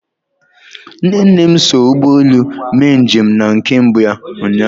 Nne nne m so ụgbọ elu mee njem na nke mbụ ụnyahụ.